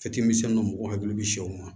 Fitini dɔ mɔgɔ hakili bɛ sɛw ma